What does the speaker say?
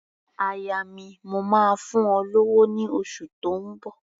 Aya mi, mò máa fún ọ lówó ní oṣù tó ń bọ̀.